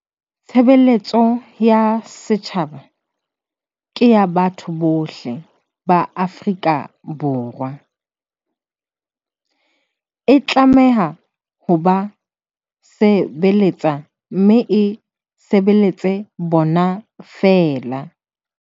Tshebeletso ya setjhaba ke ya batho bohle ba Afrika Borwa. E tlameha ho ba se beletsa mme e sebeletse bona feela.